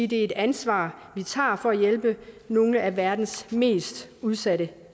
det er et ansvar vi tager for at hjælpe nogle af verdens mest udsatte